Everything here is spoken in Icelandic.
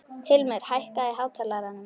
Hilmir, hækkaðu í hátalaranum.